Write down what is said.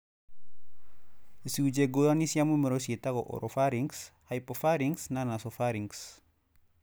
Icũnje ngũrani cia mũmero cietagwo oropharynx, hypopharynx na nasopharynx.